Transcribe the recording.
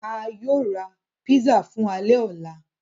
À yóò ra pízzà fun àlẹ ọlà